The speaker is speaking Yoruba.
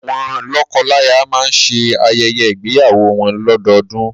Awọn lọ́kọlaya máa ń ṣe ayẹyẹ ígbéyàwó wọn lọ́dọọdún.